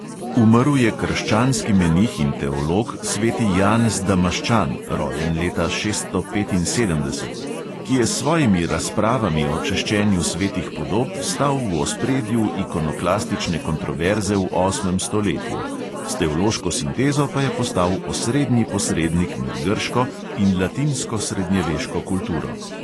Umrl je krščanski menih in teolog sveti janez damaščan (rojen leta šeststo petinsedemdeset), ki je s svojimi razpravami o češčenju svetih podob stal v ospredju ikonoklastične kontroverze v osmem stoletju, s teološko sintezo pa je postal osrednji posrednik med grško in latinsko srednjeveško kulturo.